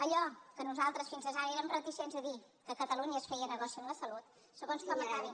allò que nosaltres fins ara érem reticents a dir que a catalunya es feia negoci amb la salut segons com acabin